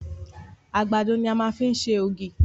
Àgbàdo ni a fi máa ń ṣe ògì